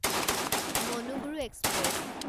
Manuguru express